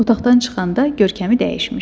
Otaqdan çıxanda görkəmi dəyişmişdi.